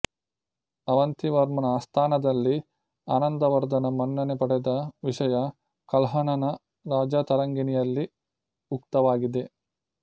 ಅವಂತಿವರ್ಮನ ಆಸ್ಥಾನದಲ್ಲಿ ಆನಂದವರ್ಧನ ಮನ್ನಣೆ ಪಡೆದ ವಿಷಯ ಕಲ್ಹಣನ ರಾಜತರಂಗಿಣಿಯಲ್ಲಿ ಉಕ್ತವಾಗಿದೆ